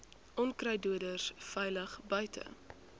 onkruiddoders veilig buite